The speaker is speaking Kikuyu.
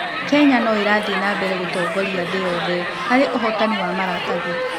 Kenya no ĩrathiĩ na mbere gũtongoria thĩ yothe harĩ ũhootani wa maratathi.